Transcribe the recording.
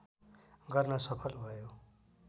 गर्न सफल भयो